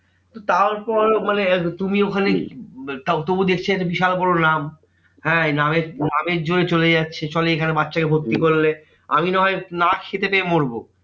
তারপর মানে তুমি ওখানে তাও তবু দেখছে বিশাল বড় নাম। হ্যাঁ এই নামের নামের জোরেই চলে যাচ্ছে। সব এখানে বাচ্চাকে ভর্তি করলে, আমি না হয় না খেতে পেয়ে মরবো।